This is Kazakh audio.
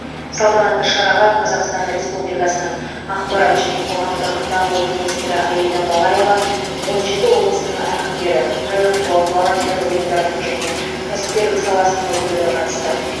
салтанатты шараға қазақстан республикасының ақпарат және қоғамдық даму министрі аида балаева он жеті облыстың әкімдері қайырымдылық волонтерлік ұйымдардың және кәсіпкерлік саласының өкілдері қатысты